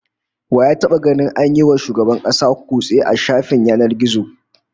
Wa ya taba ganin an yi wa wani shugaban kasa kutse a shafin yanar gizo?